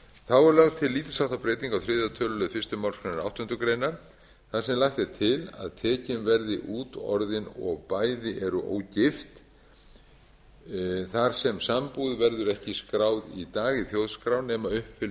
þá er lögð til lítils háttar breyting á þriðja tölulið fyrstu málsgrein áttundu greinar þar sem lagt er til að tekin verði út orðin og bæði eru ógift þar sem sambúð verður ekki skráð í dag í þjóðskrá nema uppfyllt